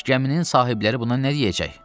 Bəs gəminin sahibləri buna nə deyəcək?